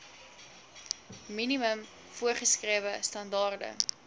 minimum voorgeskrewe standaarde